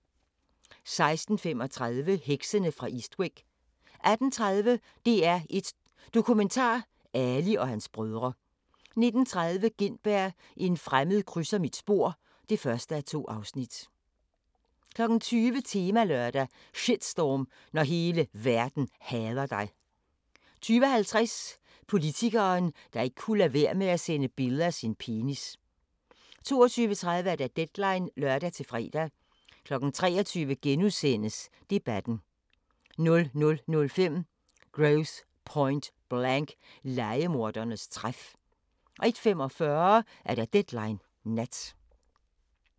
16:35: Heksene fra Eastwick 18:30: DR1 Dokumentar: Ali og hans brødre 19:30: Gintberg – en fremmed krydser mit spor (1:2) 20:00: Temalørdag: Shitstorm – når hele verden hader dig 20:50: Politikeren, der ikke kunne lade være med at sende billeder af sin penis 22:30: Deadline (lør-fre) 23:00: Debatten * 00:05: Grosse Pointe Blank – Lejemordernes træf 01:45: Deadline Nat